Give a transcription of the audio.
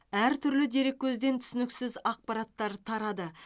әртүрлі дереккөзден түсініксіз ақпараттар тарады